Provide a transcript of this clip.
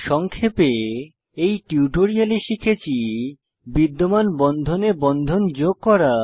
সংক্ষেপে এই টিউটোরিয়ালে শিখেছি বিদ্যমান বন্ধনে বন্ধন যোগ করা